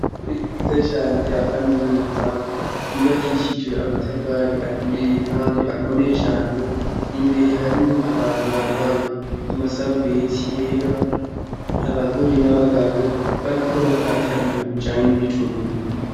Ishure ryiza cane rya kaminuza ryubakishijwe amatafari aturiye kandi akomeye cane, imbere harimwo abantu bambaye amasarubeti yera, abagore n'abagabo, bariko bakata ibintu bijanye n'ibitunguru.